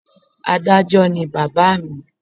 Adájó ni bàbá à mi